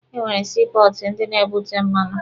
E nwere sii pọọtụ ndị na-ebute mmanụ.